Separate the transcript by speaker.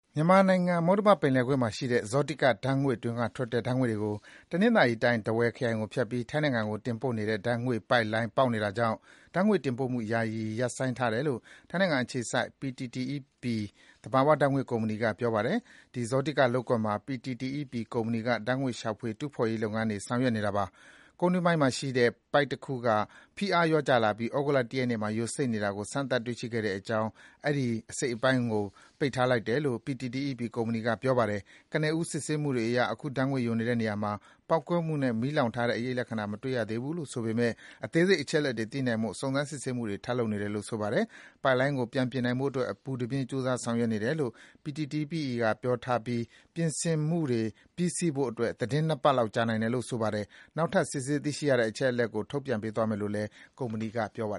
Speaker 1: မြန်မာနိုင်ငံ၊ မုတ္တမပင်လယ်ကွေ့မှာရှိတဲ့ ဇောတိက ဓါတ်ငွေ့တွင်းကထွက်တဲ့ ဓါတ်ငွေ့တွေကို တနင်္သာရီတိုင်း၊ ထားဝယ်ခရိုင်ကိုဖြတ်ပြီး ထိုင်းနိုင်ငံကို တင်ပို့နေတဲ့ ဓါတ်ငွေ့ပိုက်လိုင်း ပေါက်နေတာကြောင့် ဓါတ်ငွေ့တင်ပို့မှု ယာယီ ရပ်ဆိုင်းထားတယ်လို့ ထိုင်းနိုင်ငံအခြေစိုက် PTTEP သဘာဝဓါတ်ငွေ့ကုမ္ပဏီက ပြောပါတယ်။ ဒီဇောတိကလုပ်ကွက်မှာ PTTEP ကုမ္ပဏီက ဓါတ်ငွေ့ ရှာဖွေ တူးဖော်ရေးလုပ်ငန်းတွေ ဆောင်ရွက်နေတာပါ။ ကုန်းတွင်းပိုင်းမှာရှိတဲ့ ပိုက်တခုက ဖိအားလျော့ကျလာပြီး သြဂုတ်လ ၁ ရက်နေ့မှာ ယိုစိမ့်နေတာကို စမ်းသပ် တွေ့ရှိခဲ့တာကြောင့် အဲဒီ အစိတ်အပိုင်းကို ပိတ်ထားလိုက်တယ်လို့ PTTEP ကုမ္ပဏီက ပြောပါတယ်။ ကနဦး စစ်ဆေးမှုတွေအရ အခု ဓါတ်ငွေ့ယိုနေတဲ့နေရာမှာ ပေါက်ကွဲမှုနဲ့ မီးလောင် ထားတဲ့အရိပ်လက္ခဏာတွေ မတွေ့ရဘူးလို့ဆိုပေမယ့် အသေးစိတ်အချက်အလက်တွေ သိနိုင်ဖို့ စုံစမ်း စစ်ဆေးမှုတွေ ထပ်လုပ်နေတယ်လို့ ဆိုပါတယ်။ ပိုက်လိုင်းကို ပြင်နိုင်ဖို့အတွက် အပူတပြင်း ကြိုးစား ဆောင်ရွက်နေတယ်လို့ PTTEP က ပြောထားပြီး ပြင်ဆင်မှုတွေ ပြီးဆီးဖို့အတွက် သီတင်း ၂ ပတ်လောက် ကြာနိုင်တယ်လို့ ဆိုပါတယ်။ နောက်ထပ် စစ်ဆေး သိရှိရတဲ့ အချက်အလက်တွေကို ထုတ်ပြန်ပေးသွားမယ်လို့ PTTEP ကုမ္ပဏီက ပြောပါ